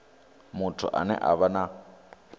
muthu ane a vha na